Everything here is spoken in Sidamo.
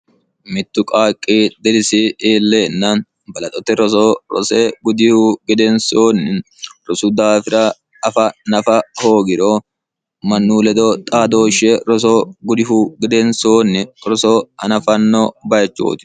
mittu qaaqqi dirisi iilleenna balaxote roso rose gudihu gedeensoonni rosu daafira afa nafa hoogiro mannu ledo xaadooshshe rosoo gudihu gedensoonni roso anafanno bayichooti